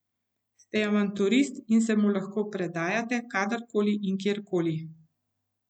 Ste avanturist in se mu lahko predajate kadar koli in kjer koli.